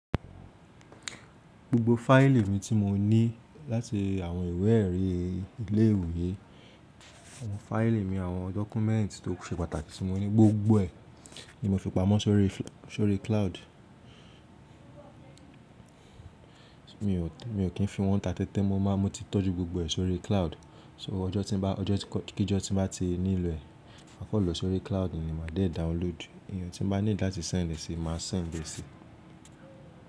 Gbogbo fáìlì mi tí mo ní láti àwọn ìwé èrí ilé ìwé, àwọn fáìlì mi, àwọn dọ́kúmẹ́ǹtì tó se pàtàkì tí mo ní, gbogbo ẹ̀ ni mo fi pamọ́ sórí cloud. Mi ò kí n fi wọ́n ta tẹ́tẹ́ mọ́, mo ti tọ́jú gbogbo ẹ̀ sórí cloud. Ṣé ọjọ́ tí n bá, ọjọ́ kí jọ́ tí bá ti nílò ẹ̀, máa kan lọ sórí cloud ni màá dé download. Eeyan tí n bá need láti sẹ́ǹd ẹ́ sì, màá sẹ́ǹd ẹ́ sì.